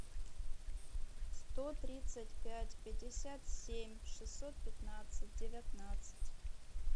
сто тридцать пять пятьдесят семь шестьсот пятнадцать девятнадцать